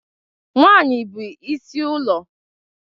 Nwanyị bụ is ụlọ.